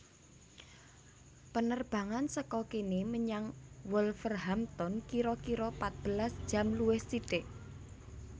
Penerbangan seko kene menyang Wolverhampton kiro kiro patbelas jam luwih sithik